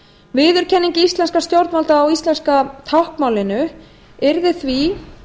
viðurkenning íslenskra stjórnvalda á íslenska táknmálinu yrði því